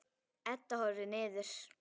Edda horfir niður.